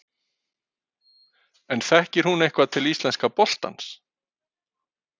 En þekkir hún eitthvað til íslenska boltans?